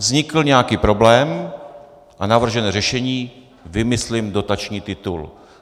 Vznikl nějaký problém a navržené řešení - vymyslím dotační titul.